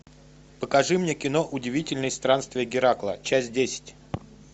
покажи мне кино удивительные странствия геракла часть десять